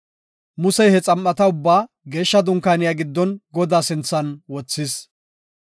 Musey he xam7ata ubbaa geeshsha dunkaaniya giddon Godaa sinthan wothis.